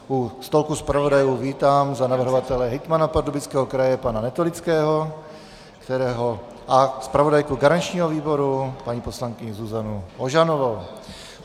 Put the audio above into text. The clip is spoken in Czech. U stolku zpravodajů vítám za navrhovatele hejtmana Pardubického kraje pana Netolického a zpravodajku garančního výboru paní poslankyni Zuzanu Ožanovou.